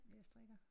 Ja jeg strikker